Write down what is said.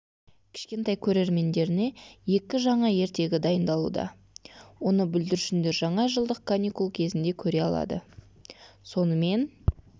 кішкентай көрермендеріне екі жаңа ертегі дайындалуда оны бүлдіршіндер жаңа жылдық каникул кезінде көре алады сонымен